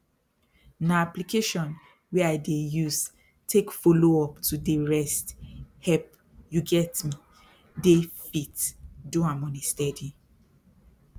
na application wey i dey use take follow up to dey rest help you get me dey fit do am on a steady